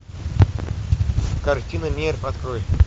картина нерв открой